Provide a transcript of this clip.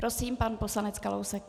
Prosím, pan poslanec Kalousek.